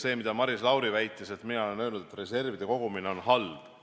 See, mida Maris Lauri väitis, et mina olen öelnud, et reservide kogumine on halb.